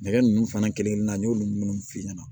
Nɛgɛ nunnu fana kelen-kelen na n y'olu munnu f'i ɲɛna